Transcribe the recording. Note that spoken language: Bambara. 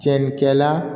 Cɛnnikɛ la